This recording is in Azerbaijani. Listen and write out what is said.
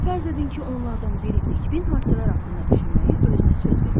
Fərz edin ki, onlardan biri nikbin hadisələr haqqında düşünməyi özünə söz vermişdir.